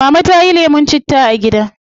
Mama tayi lemun ginger a gida